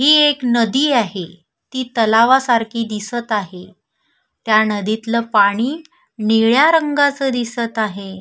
ही एक नदी आहे ती तलाव सारखी दिसत आहे त्या नदीतल पाणी निळ्या रंगाच दिसत आहे.